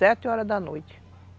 Sete horas da noite.